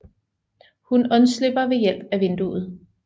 Hun undslipper ved hjælp af vinduet